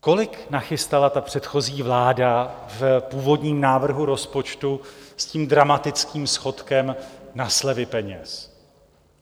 Kolik nachystala ta předchozí vláda v původním návrhu rozpočtu s tím dramatickým schodkem na slevy peněz?